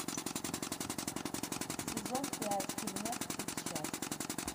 сезон пять фильмец тип счастья